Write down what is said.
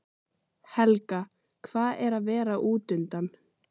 Helga: Hvað er að vera útundan?